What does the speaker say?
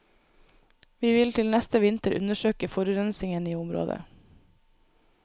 Vi vil til neste vinter undersøke forurensingen i området.